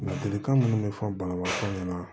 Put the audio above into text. Ladilikan minnu bɛ fɔ banabaatɔ ɲɛna